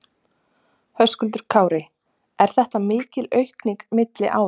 Höskuldur Kári: Er þetta mikil aukning milli ára?